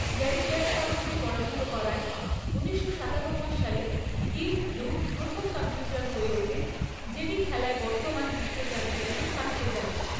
Gary কাসপারভকে পরাজিত করায় ঊনিশশো সাতানব্বই সালে ডিপ ব্লু প্রথম কম্পিউটার হয়ে ওঠে যেটি খেলায় বর্তমান বিশ্ব চ্যাম্পিয়নকে ছাপিয়ে যায়।